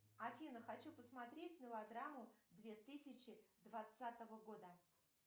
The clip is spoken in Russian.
афина хочу посмотреть мелодраму две тысячи двадцатого года